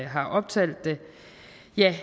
har optalt det